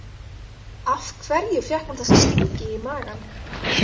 Af hverju fékk hún þessa stingi í magann?